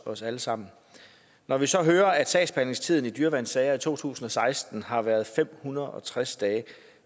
os alle sammen når vi så hører at sagsbehandlingstiden i dyreværnssager i to tusind og seksten har været fem hundrede og tres dage